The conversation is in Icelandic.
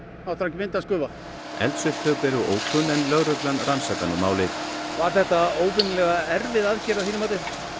myndast gufa eldsupptök eru ókunn en lögreglan rannsakar nú málið var þetta óvenjulega erfið aðgerð að þínu mati